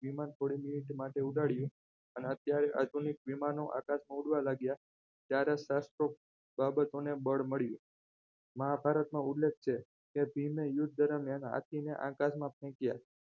વિમાન થોડી minute માટે ઉડાડીએ અને અત્યારે આધુનિક વિમાનો આકાશમાં ઉડવા લાગ્યા ત્યારે શાસ્ત્ર બાબતોને બળ મળ્યું મહાભારત નો ઉલ્લેખ છે કે પીરને યુદ્ધ ધર્મ એના હાથીને આકાશમાં ફેંક્યા